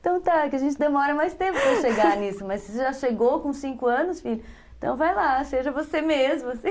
Então tá, que a gente demora mais tempo para chegar nisso, mas você já chegou com cinco anos, filho, então vai lá, seja você mesmo, assim.